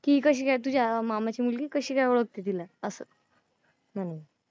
की कशी काय तुझ्या मामाची मुलगी कशी काय ओळखते तिला, असं. म्हणून.